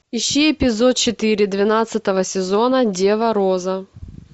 ищи эпизод четыре двенадцатого сезона дева роза